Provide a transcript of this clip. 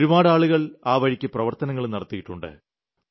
ഒരുപാട് ആളുകൾ ആ വഴിക്ക് പ്രവർത്തനങ്ങളും നടത്തിയിട്ടുണ്ട്